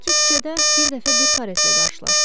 Belə ki, küçədə bir dəfə bir karetlə qarşılaşdım.